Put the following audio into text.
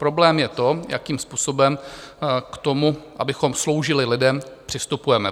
Problém je to, jakým způsobem k tomu, abychom sloužili lidem, přistupujeme.